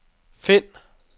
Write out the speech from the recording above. find